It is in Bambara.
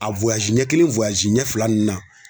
A ɲɛ kelen ɲɛ fila ninnu na.